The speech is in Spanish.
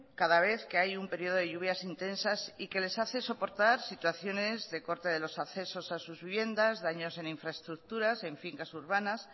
cada vez que hay un periodo de lluvias intensas y que les hace soportar situaciones de corte de los accesos a sus viviendas daños en infraestructuras en fincas urbanas